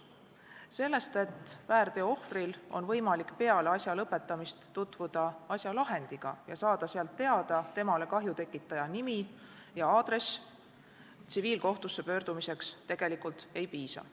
Sellest, et väärteo ohvril on võimalik peale asja lõpetamist tutvuda asja lahendiga ja saada sealt teada temale kahju tekitaja nimi ja aadress, tsiviilkohtusse pöördumiseks tegelikult ei piisa.